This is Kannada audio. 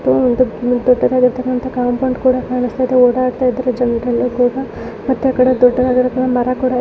ಇದು ಒಂದ್ ದೊಡ್ಡ ಕೂಡಾ ಕಾಣಸ್ತಾಯಿದೆ. ಓಡಾಡ್ತಾಯಿದ್ರೆ ಮತ್ತೆ ಆಕಡೆ ದೊಡ್ಡದಾದ ಮರಾ ಕೂಡಾ --